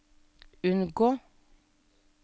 unngå